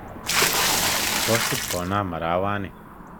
Kosib konam arawani